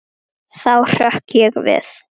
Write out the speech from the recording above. Þá hrökk ég við.